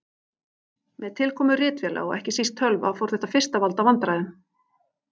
Með tilkomu ritvéla og ekki síst tölva fór þetta fyrst að valda vandræðum.